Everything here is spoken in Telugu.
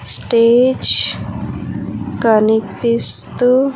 స్టేజ్ కనిపిస్తు--